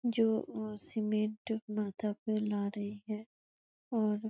जो इसमें डूबना था पर रहे है और --